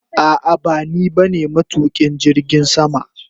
A'a bani ba ne matukin jirgin sama.